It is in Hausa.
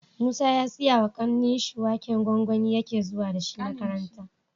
Musa ya siya wa kanin shi waken gwangwani yake zuwa dashi makaranta